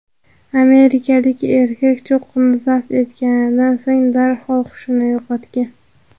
Amerikalik erkak cho‘qqini zabt etganidan so‘ng darhol hushini yo‘qotgan.